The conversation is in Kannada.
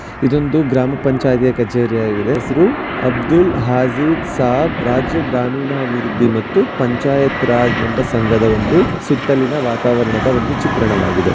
ಇದೊಂದು ಗ್ರಾಮ ಪಂಚಾಯಿತಿಯ ಕಚೇರಿಯಾಗಿದೆ ಹೆಸರು ಅಬ್ದುಲ್ ಹಾಜಿ ಸಾಬ್ ರಾಜ್ಯ ಗ್ರಾಮೀಣಾಭಿವೃದ್ಧಿ ಮತ್ತು ಪಂಚಾಯತ್‌ರಾಜ್ ಎಂಬ ಸಂಘದ ಒಂದು ಸುತ್ತಲಿನ ವಾತಾವರಣದ ಒಂದು ಚಿತ್ರಣವಾಗಿದೆ ಇದು.